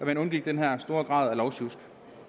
man undgik den her store grad af lovsjusk